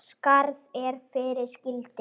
spurði Gunna.